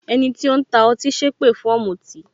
Ẹni tó ń ta ọtí sépè fún ọ̀mùtì